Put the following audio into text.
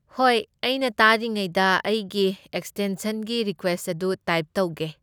ꯍꯣꯏ, ꯑꯩꯅ ꯇꯥꯔꯤꯉꯤꯉꯩꯗ ꯑꯩꯒꯤ ꯑꯦꯛꯁꯇꯦꯟꯁꯟꯒꯤ ꯔꯤꯀ꯭ꯋꯦꯁꯠ ꯑꯗꯨ ꯇꯥꯏꯞ ꯇꯧꯒꯦ꯫